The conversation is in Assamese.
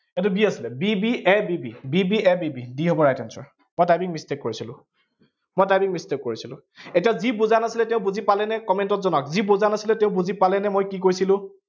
এইটো b আছিলে, b b a, b b, b b a b b হব right answer মই typing mistake কৰিছিলো, মই typing mistake কৰিছিলো। এতিয়া যি বুজা নাছিলে তেওঁ বুজি পালেনে, comment ত জনাওঁক, যি বুজা নাছিলে তেওঁ বুজি পালেনে, মই কি কৈছিলো